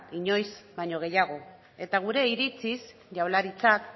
inoiz baino gehiago eta gure iritziz jaurlaritzak